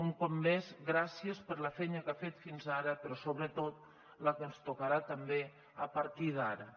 un cop més gràcies per la feina que ha fet fins ara però sobretot la que ens tocarà també a partir d’ara